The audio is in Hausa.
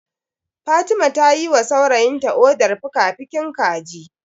Fatima ta yiwa saurayinta odar fikafikin kaji.